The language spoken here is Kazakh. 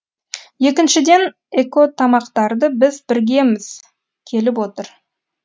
екіншіден экотамақтарды біз біргіміз келіп отыр